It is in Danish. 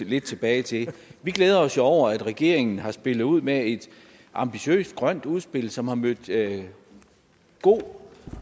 lidt tilbage til vi glæder os jo over at regeringen har spillet ud med et ambitiøst grønt udspil som har mødt god